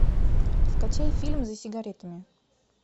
скачай фильм за сигаретами